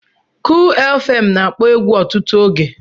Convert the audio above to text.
Kull fm na-akpọ egwu ọtụtụ oge.